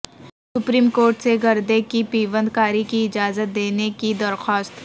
supreme court سے گردے کی پیوند کاری کی اجازت دینے کی درخواست